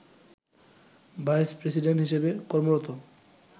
vice president হিসেবে কর্মরত